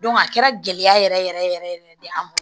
a kɛra gɛlɛya yɛrɛ yɛrɛ yɛrɛ yɛrɛ de an ma